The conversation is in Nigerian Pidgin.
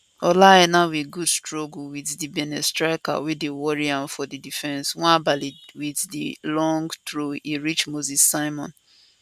ola aina wit good struggle wit di benin striker wey dey worry am for di defence nwabali wit di loooong throw e reach moses simon